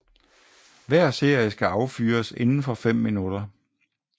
Hver serie skal affyres indenfor fem minutter